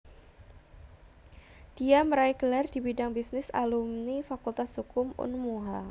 Dia meraih gelar di bidang bisnis Alumi Fakultas Hukum Unmuha